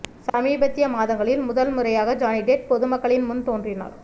சமீபத்திய மாதங்களில் முதல் முறையாக ஜானி டெப் பொதுமக்களின் முன் தோன்றினார்